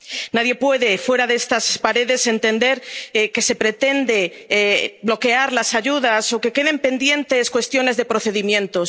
Nadie puede, fuera de estas paredes, entender que se pretende bloquear las ayudas o que queden pendientes cuestiones de procedimientos.